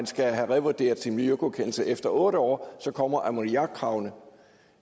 skal have revurderet sin miljøgodkendelse efter otte år så kommer ammoniakkravene